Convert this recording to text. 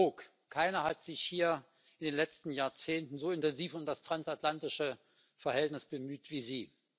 Herr Brok, keiner hat sich hier in den letzten Jahrzehnten so intensiv um das transatlantische Verhältnis bemüht wie Sie.